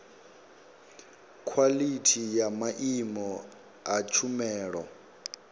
khwalithi ya maimo a tshumelo